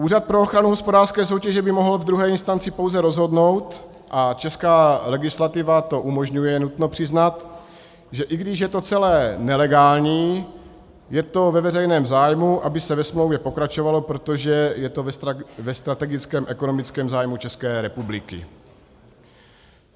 Úřad pro ochranu hospodářské soutěže by mohl ve druhé instanci pouze rozhodnout, a česká legislativa to umožňuje, nutno přiznat, že i když je to celé nelegální, je to ve veřejném zájmu, aby se ve smlouvě pokračovalo, protože je to ve strategickém ekonomickém zájmu České republiky.